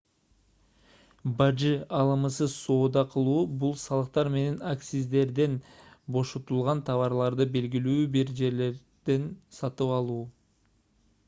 бажы алымысыз соода кылуу бул салыктар менен акциздерден бошотулган товарларды белгилүү бир жерлерден сатып алуу